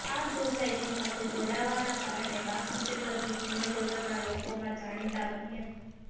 આ સોસાયટી સાથે જોડાવાના કારણે બાસુ ચેટરજી સિનેજગતના લોકોમાં જાણીતા બન્યા